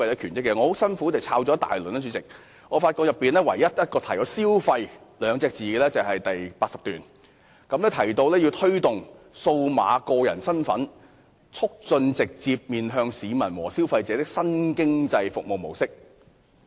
主席，我很辛苦找了很久，發現只在第80段提到"消費"二字，內容提到要推動"數碼個人身份"，"促進直接面向市民和消費者的新經濟服務模式"。